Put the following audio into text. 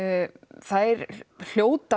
þær hljóta